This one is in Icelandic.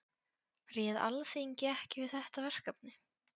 Réð Alþingi ekki við þetta verkefni?